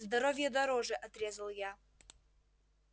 здоровье дороже отрезал я